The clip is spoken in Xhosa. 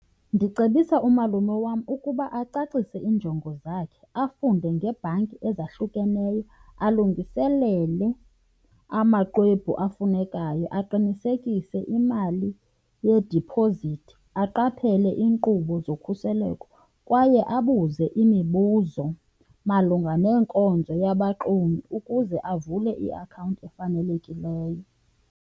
Ndicebisa umalume wam ukuba acacise iinjongo zakhe, afunde ngebhanki ezahlukeneyo, alungiselele amaxwebhu afunekayo, aqinisekise imali yediphozithi, aqaphele iinkqubo zokhuseleko kwaye abuze imibuzo malunga nenkonzo yabaxumi ukuze avule iakhawunti efanelekileyo.